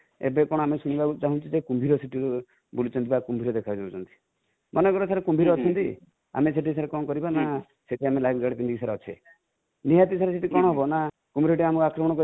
ଏବେ କଣ ଆମେ ଶୁଣିବାକୁ ପାଉଛୁ ଜେ କୁମ୍ବୀର ସେଠି ବୁଲୁଛନ୍ତି ବା କୁମ୍ବୀର ଦେଖା ଯାଉଛନ୍ତି|ମନେକର sir କୁମ୍ବୀର ଅଛନ୍ତି ଆମେ ସେଠି sir କଣକରିବା ନା ସେଠି ଆମେ live jacket ପିନ୍ଧି କି ଅଛେ ନିହାତି sir ସେଠି କଣ ହେବ ନା କୁମ୍ବୀର ଟି ଆମକୁ ଆକ୍ରମଣ କରିବ